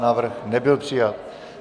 Návrh nebyl přijat.